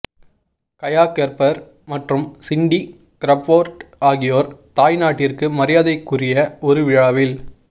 Gaya Gerber மற்றும் Cindy Crawford ஆகியோர் தாய் நாட்டிற்கு மரியாதைக்குரிய ஒரு விழாவில்